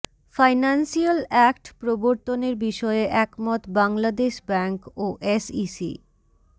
financial act প্রবর্তনের বিষয়ে একমত বাংলাদেশ ব্যাংক ও এসইসি